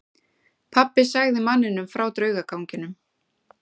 Pabbi sagði manninum frá draugaganginum.